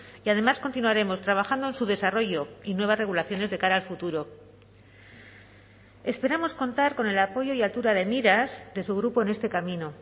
y además continuaremos trabajando en su desarrollo y nuevas regulaciones de cara al futuro esperamos contar con el apoyo y altura de miras de su grupo en este camino